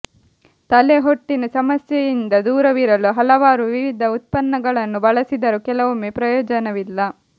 ತಲೆ ಹೊಟ್ಟಿನ ಸಮಸ್ಯೆಯಿಂದ ದೂರವಿರಲು ಹಲವಾರು ವಿಧದ ಉತ್ಪನ್ನಗಳನ್ನು ಬಳಸಿದರೂ ಕೆಲವೊಮ್ಮೆ ಪ್ರಯೋಜನವಿಲ್ಲ